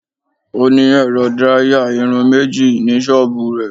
Ó ní ẹ̀rọ díráyà irun méjì ní ṣọ́bùù rẹ̀.